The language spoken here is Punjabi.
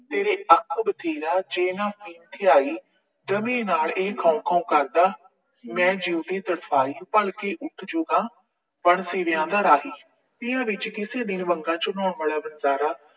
ਤੇਰੇ ਅੱਕ ਬਥੇਰਾ, ਜੇ ਨਾ ਪੀੜ ਥਿਆਈ। ਜਮੀਂ ਨਾਲ ਇਹ ਖਾਉਂ ਖਾਉਂ ਕਰਦਾ। ਮੈਂ ਜਿਊਂਦੀ ਤਰਸਾਈ। ਭਲਕੇ ਉਠਜੂਗਾ, ਬਣ ਸੀਵੀਆਂ ਦਾ ਰਾਹੀ। ਇਹਨਾਂ ਵਿੱਚ ਕਿਸੇ ਦਿਨ ਬੰਗਾਂ ਚੜਾਉਣ ਵਾਲਾ ਬੰਜਾਰਾ